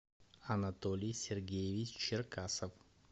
анатолий сергеевич черкасов